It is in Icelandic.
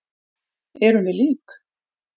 Erum við lík?